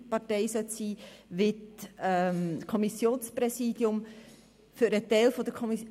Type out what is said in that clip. Stefan Costa mit 80 Stimmen Jakob Etter erhielt 78 Stimmen